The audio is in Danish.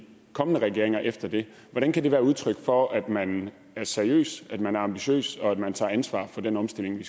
kommende regeringer efter det hvordan kan det være udtryk for at man er seriøs at man ambitiøs og at man tager ansvar for den omstilling